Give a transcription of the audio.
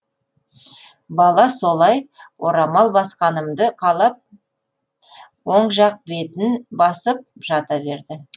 бала солай орамал басқанымды қалап оң жақ бетін басып жата берді